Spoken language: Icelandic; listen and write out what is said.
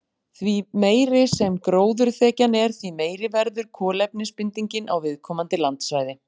Því meiri sem gróðurþekjan er, því meiri verður kolefnisbindingin á viðkomandi landsvæði.